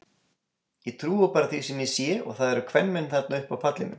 Ég trúi bara því sem ég sé og það eru kvenmenn þarna uppi á pallinum.